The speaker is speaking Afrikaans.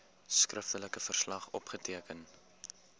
skriftelike verslag opgeteken